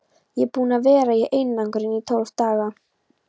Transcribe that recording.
Ég er búinn að vera í einangrun í tólf daga.